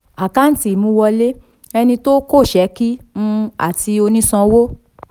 àkántì ìmúwọlé ẹni tó kòsẹ́kí um àti onísanwó